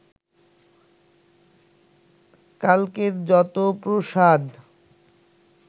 কালকের যত প্রসাদ